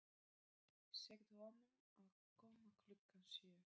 Segðu honum að koma klukkan sjö.